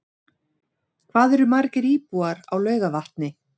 Hvað eru margir íbúar á Laugarvatni?